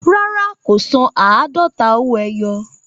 Rárá, kò san àádọ́ta owó ẹyọ